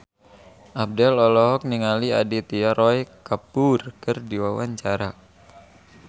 Abdel olohok ningali Aditya Roy Kapoor keur diwawancara